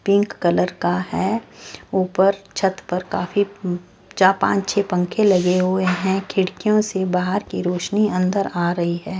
Pink colour का है ऊपर छत पर काफी चा पांच छह पंखे लगे हुए हैं खिड़कियों से बाहर की रोशनी अंदर आ रही है।